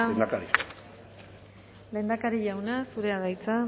lehendakari jauna zurea da hitza